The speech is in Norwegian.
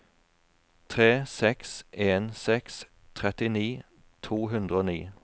tre seks en seks trettini to hundre og ni